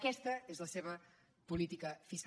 aquesta és la seva política fiscal